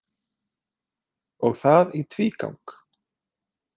Og það í tvígang.